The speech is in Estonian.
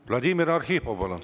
Vladimir Arhipov, palun!